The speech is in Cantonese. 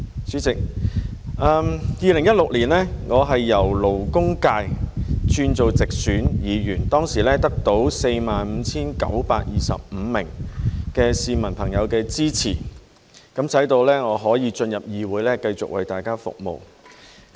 主席 ，2016 年我由勞工界議員轉任直選議員，當時得到 45,925 名市民朋友的支持，使我可以進入議會繼續為大家服務。